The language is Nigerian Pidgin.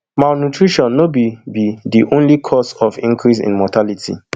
malnutrition no be be di only cause of increase in mortality